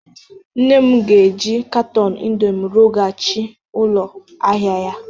Nne m ga-eji katọn indomi rụghachi ụlọ ahịa ya